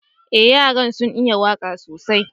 Eh, yaran sun yi waka sosai.